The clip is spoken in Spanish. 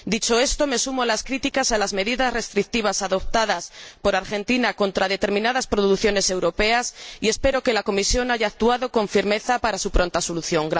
Dicho esto, me sumo a las críticas a las medidas restrictivas adoptadas por Argentina contra determinadas producciones europeas y espero que la Comisión haya actuado con firmeza para su pronta solución.